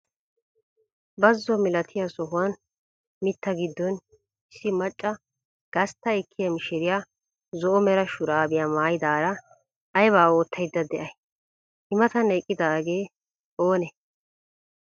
Bazo milatiyaa sohuwaan mitta giddon issi macca gastta ekkiyaa mishiriyaa zo"o mera shuraabiyaa maayidaara aybaa oottayda de'ay? I matan eqqidaagee oonee?